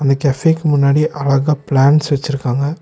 இந்த கஃபேக்கு முன்னாடி அழகா பிளான்ட்ஸ் வச்சுருக்காங்க.